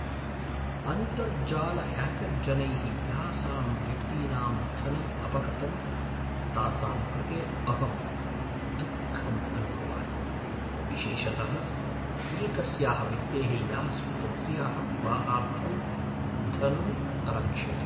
अन्तर्जालह्याकर्जनैः यासां व्यक्तीनां धनम् अपहृतं तासां कृते अहं दुःखम् अनुभवामि, विशेषतः एकस्याः व्यक्तेः या स्वपुत्र्याः विवाहार्थं धनम् अरक्षत्।